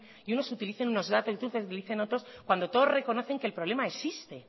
y unos utilicen y otros utilicen otros cuando todos reconocen que el problema existe